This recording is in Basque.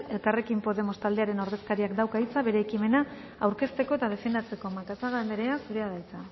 elkarrekin podemos taldearen ordezkariak dauka hitza bere ekimena aurkezteko eta defendatzeko macazaga anderea zurea da hitza